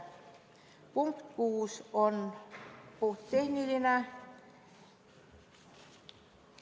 Punkt 6 on puhttehniline.